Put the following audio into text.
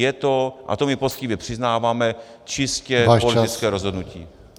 Je to, a to my poctivě přiznáváme , čistě politické rozhodnutí.